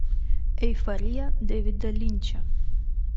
эйфория дэвида линча